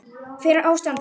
Hver er ástæða þess?